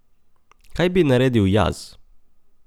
Kaj bi naredil jaz?